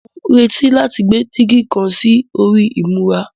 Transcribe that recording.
Mò ń retí láti gbé dígí kan sí orí ìmura